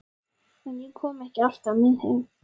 En ég kom ekki alltaf með heim.